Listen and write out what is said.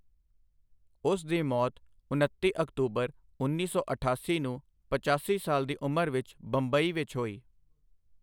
ਉਸ ਦੀ ਮੌਤ ਉਨੱਤੀ ਅਕਤੂਬਰ ਉੱਨੀ ਸੌ ਅਠਾਸੀ ਨੂੰ ਪਚਾਸੀ ਸਾਲ ਦੀ ਉਮਰ ਵਿੱਚ ਬੰਬਈ ਵਿੱਚ ਹੋਈ।